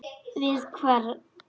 Við hvern?